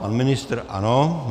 Pan ministr ano.